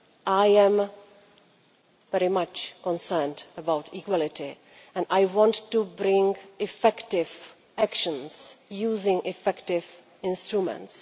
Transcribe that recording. I am very much concerned about equality and I want to bring about effective actions using effective instruments.